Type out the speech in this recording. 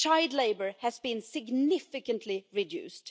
child labour has been significantly reduced.